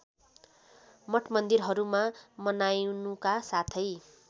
मठमन्दिरहरूमा मनाइनुका साथै